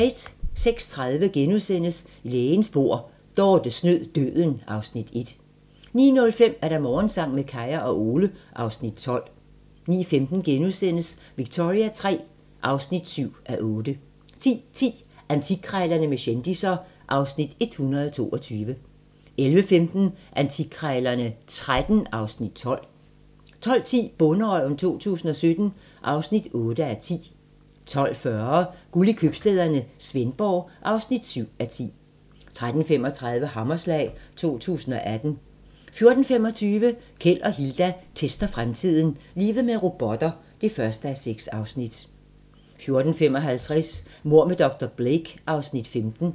06:30: Lægens bord: Dorte snød døden (Afs. 1)* 09:05: Morgensang med Kaya og Ole (Afs. 12) 09:15: Victoria III (7:8)* 10:10: Antikkrejlerne med kendisser (Afs. 122) 11:15: Antikkrejlerne XIII (Afs. 12) 12:10: Bonderøven 2017 (8:10) 12:40: Guld i købstæderne - Svendborg (7:10) 13:35: Hammerslag 2018 14:25: Keld og Hilda tester fremtiden - Livet med robotter (1:6) 14:55: Mord med dr. Blake (Afs. 15)